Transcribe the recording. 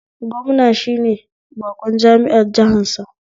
Gwamna shine baƙon jami'ar jihansa